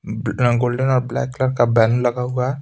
Golden और black colour का banner लगा हुआ है।